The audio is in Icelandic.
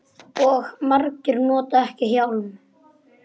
Og margir nota ekki hjálm.